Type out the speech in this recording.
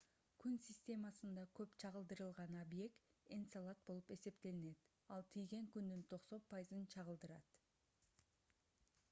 күн системасында көп чагылдырган объект энцелад болуп эсептелинет ал тийген күндүн 90 пайызын чагылдырат